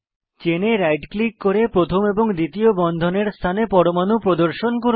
চেনে right click করে প্রথম এবং দ্বিতীয় বন্ধনের স্থানে পরমাণু প্রদর্শন করুন